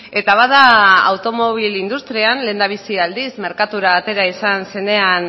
eta bada automobil industrial lehendabizi aldiz merkatura atera izan zenean